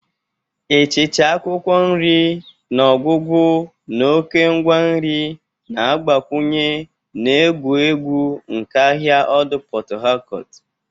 Ịchịcha akwụkwọ nri n'ọgwụgwụ na oke ngwa nri na-agbakwunye na egwu egwu nke ahịa ọdụ port Harcourt.